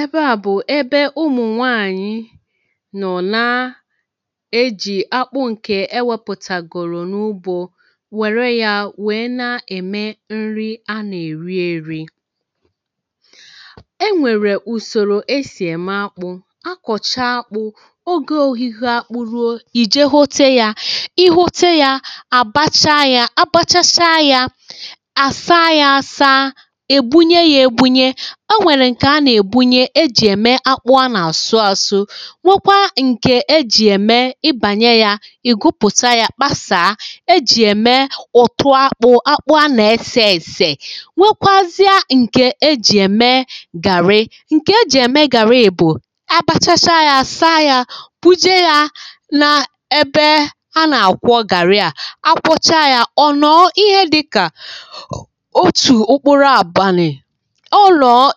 ebe à bụ̀ ebe ụmụ̀ nwaànyị nọ̀ na ejì akpụ̇ ǹke e wėpụ̀tàgòrò n’ụbụ̇ wère ya wèe na-ème nri a na-èri eri e nwèrè ùsòrò e sì ème akpụ̇ a kọ̀chaa akpụ̇ ogė ohihi a kpụrụo ì je hote ya i hote ya àbacha ya àbachacha ya àsaa ya asaa o nwèrè ǹkè anà-èbunye ejì ème akpụ anà-àsụ àsụ nwekwa ǹkè ejì ème ibànyè ya ì gụpụta ya kpasaa ejì ème ụ̀tụ akpụ akpụ anà-esė èsè nwekwazịa ǹkè ejì ème gàrị ǹkè ejì ème gàrị bù abachacha ya saa ya buje ya nà ebe anà-àkwọ gàrị a akwọcha ya ọ̀nọ̀ ihe dịkà otù okporo àbunyè